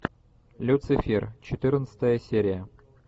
люцифер четырнадцатая серия